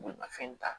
Bolimafɛn ta